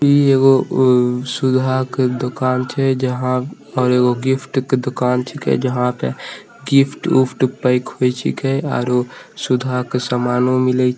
इ एगो उ सुधा के दुकान छै जहां पर एगो गिफ्ट के दुकान छींके जहां पे गिफ्ट उफ्ट पैक हो छींके आरो सुधा के समानो मिले --